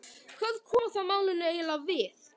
Hvað koma það málinu eiginlega við?